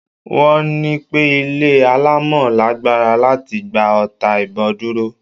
Wọ́n ní pẹ́ ilé alámọ̀ lágbára láti gba ọta ìbon dúró.